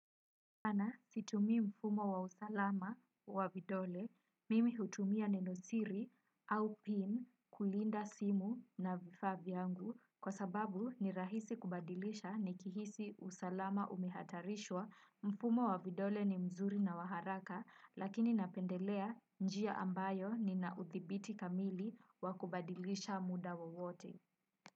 Sana situmii mfumo wa usalama wa vidole, mimi hutumia neno siri au pin kulinda simu na vifaa vyangu kwa sababu ni rahisi kubadilisha nikihisi usalama umehatarishwa mfumo wa vidole ni mzuri na wa haraka lakini napendelea njia ambayo nina udhibiti kamili wa kubadilisha muda wowote.